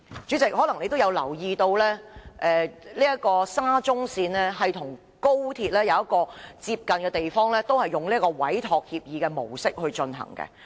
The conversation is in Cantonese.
主席，你可能也有留意到，沙中線與高鐵的工程有一個類似的地方，兩者都是以委託協議的模式進行。